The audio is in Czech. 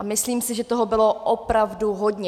A myslím si, že toho bylo opravdu hodně.